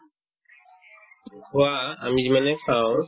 খোৱা আমি যিমানে খাও